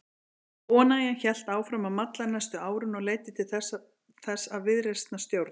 Óánægjan hélt áfram að malla næstu árin og leiddi til þess að viðreisnarstjórn